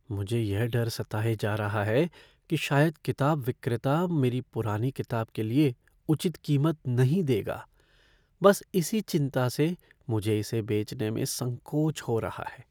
मुझे यह डर सताए जा रहा है कि शायद किताब विक्रेता मेरी पुरानी किताब के लिए उचित कीमत नहीं देगा। बस इसी चिंता से मुझे इसे बेचने में संकोच हो रहा है।